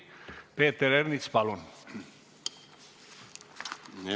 Peeter Ernits, palun!